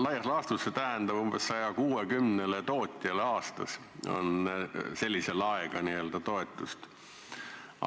Laias laastus tähendab see seda, et aastas saab umbes 160 tootjat sellise laega n-ö toetust.